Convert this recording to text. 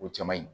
O cɛ man ɲi